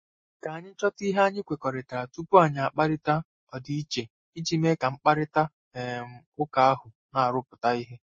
Ka anyị chọta ihe anyị kwekọrịtara tupu anyị akparịta ọdịiche iji mee ka mkparịta um ụka ahụ na-arụpụta ihe.